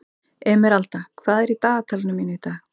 Emeralda, hvað er í dagatalinu mínu í dag?